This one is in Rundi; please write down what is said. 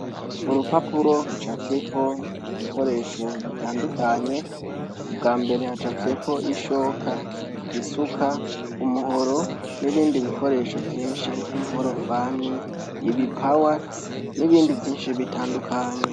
Urupapuro rucafyeko ibikoresho bitandukanye, ubwa mbere hacafyeko ishoka, isuka, umuhoro, n'ibindi bikoresho vyinshi nk'inkorofani, ibipawa, n'ibindi vyinshi bitandukanye.